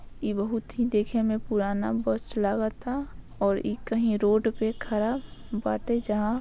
इ बहुत ही देखे में पुराना बस लगाता और इ कहीं रोड पे खड़ा बाटे जहा --